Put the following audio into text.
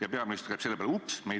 Ja peaminister ütleb selle peale: "Oops!